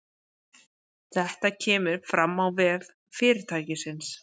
Þetta kemur fram á vef fyrirtækisins